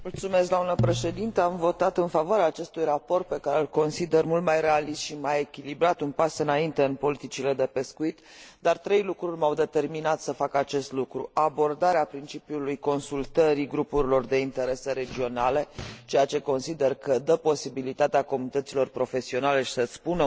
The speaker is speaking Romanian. Am votat în favoarea acestui raport, pe care îl consider mult mai realist și mai echilibrat, un pas înainte în politicile de pescuit, dar trei lucruri m au determinat să fac acest lucru abordarea principiului consultării grupurilor de interese regionale, ceea ce consider că dă posibilitatea comunităților profesionale să și spună punctul de vedere